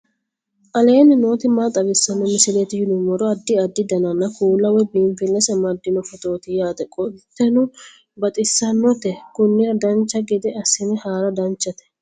aleenni nooti maa xawisanno misileeti yinummoro addi addi dananna kuula woy biinsille amaddino footooti yaate qoltenno baxissannote konnira dancha gede assine haara danchate